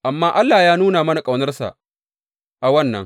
Amma Allah ya nuna mana ƙaunarsa a wannan.